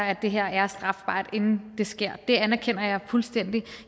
at det her er strafbart inden det sker det anerkender jeg fuldstændig